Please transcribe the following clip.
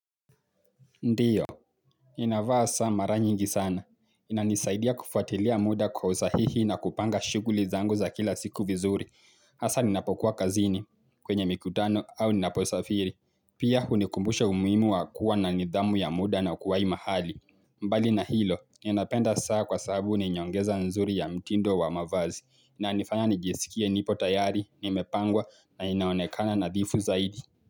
Ndiyo, nina vaa saa mara nyingi sana. Inanisaidia kufuatilia muda kwa usahihi na kupanga shuguli zangu za kila siku vizuri. Asa ninapokuwa kazini, kwenye mikutano au ninaposafiri. Pia hunikumbusha umuhimu wa kuwa na nidhamu ya muda na kuwai mahali. Mbali na hilo, ninapenda saa kwa sababu ni nyongeza nzuri ya mtindo wa mavazi. Inanifanya nijesikie nipo tayari, nimepangwa na ninaonekana nadhifu zaidi.